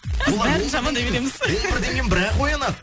біз бәрін жаман береміз он бірден кейін бір ақ оянады